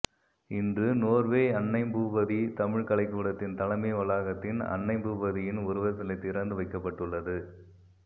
இன்று நோர்வே அன்னைபூபதி தமிழ்க் கலைக்கூடத்தின் தலைமை வளாகத்தின் அன்னைபூபதியின் உருவச்சிலை திறந்துவைக்கப்பட்டுள்ளது